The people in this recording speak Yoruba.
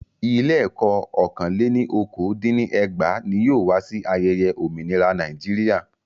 Ilé ẹ̀kọ́ ọ́kàn lẹ́ ní okòó dín ní ẹgbàá ní yóò wá sí ayẹyẹ òmìnira Nàíjíríà.